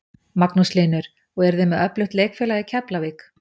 Magnús Hlynur: Og þið eruð með öflugt leikfélag í Keflavík?